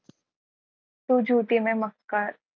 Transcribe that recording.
तू झुठी मै मक्कार.